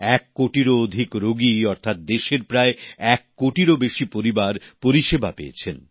এক কোটিরও অধিক রোগী অর্থাৎ দেশের প্রায় এক কোটিরও বেশি পরিবার পরিষেবা পেয়েছেন